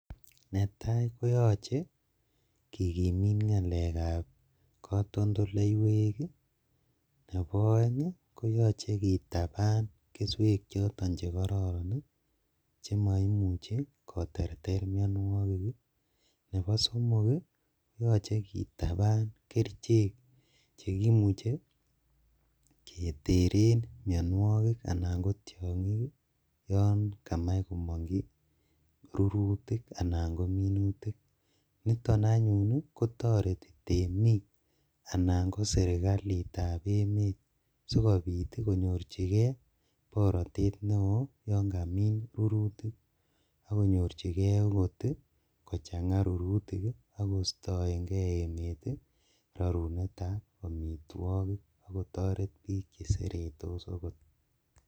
Netaa kotoche kigimit ngalekab kotondoleiwek ii, nebo oeng koyoche kitaban keswek chekororon ii chemoimuche koterter mionuokik ii ,nebo somok ii kotoche kitaban kerichek chekimuche keteren mionuokik anan kotiongik ii yon kamach komonji rurutik niton anyuun kotoreti temik anan ko sirkalitab emet sikobit konyorjigee borotet neo yon kamin rurutik akonyorjigee okot kochanga rurutik ak kostoengee emet rorunetab omitwogik ak kotoret bik cheseretos okot.